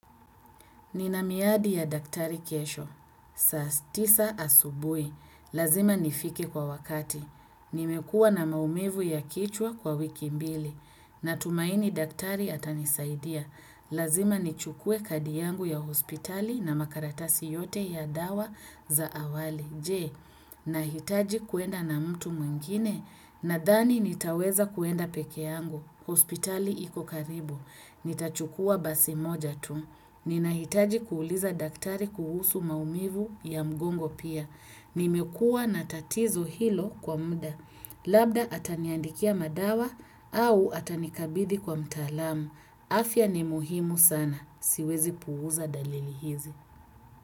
Ninamiadi ya daktari kesho. Saa tisa asubuhi. Lazima nifike kwa wakati. Nimekuwa na maumivu ya kichwa kwa wiki mbili. Natumaini daktari atanisaidia. Lazima nichukue kadi yangu ya hospitali na makaratasi yote ya dawa za awali. Je, nahitaji kuenda na mtu mwingine, nadhani nitaweza kuenda pekee yangu, hospitali iko karibu. Nitachukua basi moja tu. Ninahitaji kuuliza daktari kuhusu maumivu ya mgongo pia. Nimekua natatizo hilo kwa mda. Labda ataniandikia madawa au atanikabidi kwa mtaalamu. Afya ni muhimu sana. Siwezi puuza dalili hizi.